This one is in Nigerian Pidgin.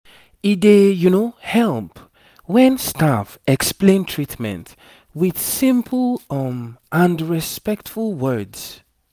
e dey help when staff explain treatment with simple um and respectful words